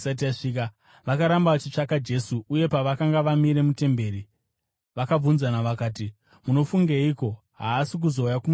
Vakaramba vachitsvaka Jesu, uye pavakanga vamire mutemberi, vakabvunzana vakati, “Munofungeiko? Haasi kuzouya kumutambo here?”